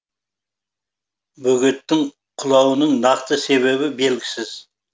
бөгеттің құлауының нақты себебі белгісіз